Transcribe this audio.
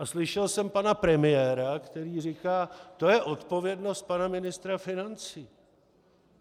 A slyšel jsem pana premiéra, který říká: To je odpovědnost pana ministra financí.